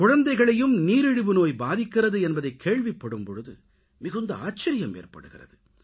குழந்தைகளையும் நீரிழிவு நோய் பாதிக்கிறது என்பதைக் கேள்விப்படும் பொழுது மிகுந்த ஆச்சரியம் ஏற்படுகிறது